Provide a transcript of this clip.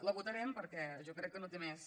la votarem perquè jo crec que no té més